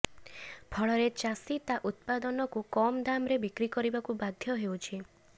ଫଳରେ ଚାଷୀ ତା ଉତ୍ପାଦନକୁ କମ୍ ଦାମରେ ବିକ୍ରି କରିବାକୁ ବାଧ୍ୟ ହେଉଛି